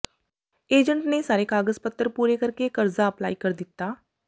agent ਨੇ ਸਾਰੇ ਕਾਗਜ਼ ਪੱਤਰ ਪੁਰੇ ਕਰਕੇ ਕਰਜ਼ਾ ਅਪਲਾਈ ਕਰ ਦਿੱਤਾ